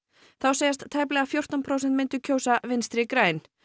þá segjast tæplega fjórtán prósent myndu kjósa Vinstri græn